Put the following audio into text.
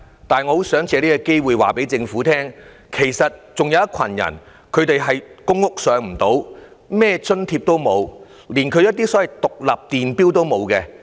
但是，我想借這個機會告訴政府，其實還有一群人，他們未能入住公屋，沒有享用任何福利津貼，連獨立電錶也沒有。